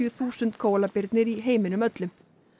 þúsund í heiminum öllum